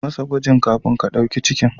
Yi masa gwajin kafin ka ɗauki jinin.